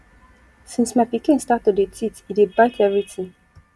since my pikin start to dey teeth e dey bite everytin